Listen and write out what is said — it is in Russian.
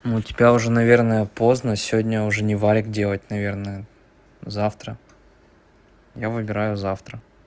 ну у тебя уже наверное поздно сегодня уже не вариант делать наверное завтра я выбираю завтра